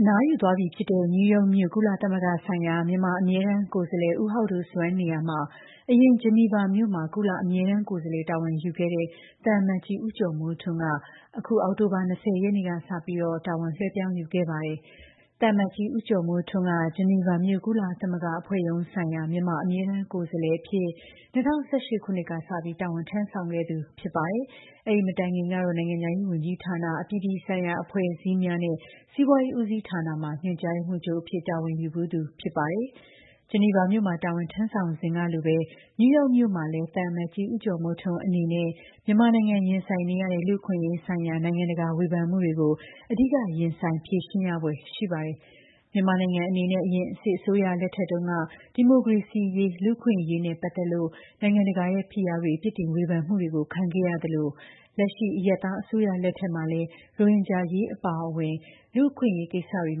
အနားယူသွားပြီဖြစ်တဲ့ နယူးယောက်မြို့၊ ကုလသမဂ္ဂဆိုင်ရာ မြန်မာ အမြဲတမ်းကိုယ်စားလှယ် ဦးဟောက်ဒိုဆွမ်းနေရာမှာတော့ အရင် ဂျီနီဗာမြို့မှာ ကုလအမြဲတမ်းကိုယ်စားလှယ်တာဝန်ယူခဲ့တဲ့ သံအမတ်ကြီး ဦးကျော်မိုးထွန်းက အခု အောက်တိုဘာလ ၂၀ ရက်နေ့ကစ တာဝန်လွဲှပြောင်းယူခဲ့ပါတယ်။ သံအမတ်ကြီး ဦးကျော်မိုးထွန်းက ဂျီနီဗာမြို့၊ ကုလသမဂ္ဂ အဖွဲ့ရုံးဆိုင်ရာ မြန်မာ အမြဲတမ်း ကိုယ်စားလှယ်အဖြစ် ၂၀၁၈ ခုနှစ်ကစပြီး တာဝန် ထမ်းဆောင်ခဲ့သူ ဖြစ်ပါတယ်။ အဲဒီ မတိုင်ခင်ကတော့ နိုင်ငံခြားရေး ဝန်ကြီးဌာန အပြည်ပြည်ဆိုင်ရာ အဖွဲ့အစည်းများနဲ့ စီးပွားရေး ဦးစီးဌာနမှာ ညွှန်ကြားရေးမှူးချုပ်အဖြစ် တာဝန်ယူဖူးသူ ဖြစ်ပါတယ်။ ဂျီနီဗာမြို့မှာ တာဝန်ထမ်းဆောင်စဉ်ကလိုပဲ နယူးယောက်မြို့မှာလည်း သံအမတ်ကြီး ဦးကျော်မိုးထွန်းအနေနဲ့ မြန်မာနိုင်ငံရင်ဆိုင်နေရတဲ့ လူ့အခွင့်အရေးဆိုင်ရာ နိုင်ငံတကာဝေဖန်မှုတွေကို အဓိက ရင်ဆိုင်ဖြေရှင်းရဖွယ်ရှိပါတယ်။ မြန်မာနိုင်ငံအနေနဲ့ အရင်စစ်အစိုးရလက်ထက်တုန်းက ဒီမိုကရေစီရေး လူ့အခွင့်အရေးနဲ့ ပတ်သက်လို့ နိုင်ငံတကာရဲ့ဖိအားတွေ ပြစ်တင်ဝေဖန်မှုတွေ ခံခဲ့ရသလိုပဲ၊ လက်ရှိ အရပ်သားအစိုးရ လက်ထက်မှာလည်း ရိုဟင်ဂျာအရေးအပါအဝင် လူ့အခွင့်အရေးကိစ္စတွေ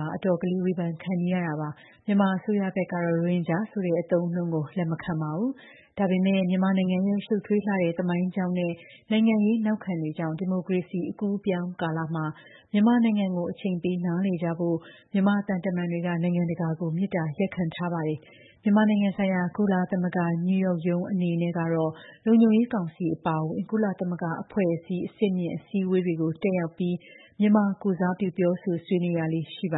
မှာ အတော်လေး ဝေဖန်ခံနေရတာပါ။ မြန်မာအစိုးရဘက်ကတော့ ရိုဟင်ဂျာဆိုတဲ့အသုံးအနှုန်းကို လက်မခံပါဘူး။ ဒါပေမဲ့လည်း မြန်မာနိုင်ငံရဲ့ ရှုပ်ထွေးလှတဲ့ သမိုင်းကြောင်းနဲ့ နိုင်ငံရေးနောက်ခံတွေကြောင့် ဒီမိုကရေစီအကူးအပြောင်းကာလမှာ မြန်မာနိုင်ငံကို အချိန်ပေး နားလည်ကြဖို့ မြန်မာသံတမန်တွေက နိုင်ငံတကာကို မေတ္တာရပ်ခံထားပါတယ်။ မြန်မာနိုင်ငံဆိုင်ရာ ကုလသမဂ္ဂ နယူးယောက်ရုံးအနေနဲ့ကတော့ လုံခြုံရေးကောင်စီအပါအဝင် ကုလသမဂ္ဂအဖွဲ့အစည်း အဆင့်မြင့်အစည်းအဝေးတွေကို တတ်ရောက်ပြီး မြန်မာကိုယ်စားပြု ပြောဆိုဆွေးနွေးရလေ့ရှိပါ